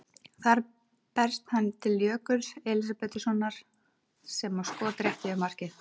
Þar berst hann til Jökuls Elísabetarsonar sem á skot rétt yfir markið.